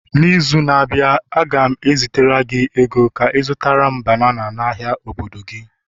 n'izu na-abịa, a ga m ezitere gị ego Ka ị zụtara m banana n'ahịa obodo gị